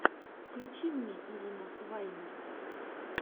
включи мне ирина ваймер